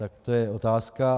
Tak to je otázka.